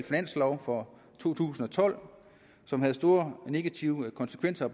finanslov for to tusind og tolv som havde store negative konsekvenser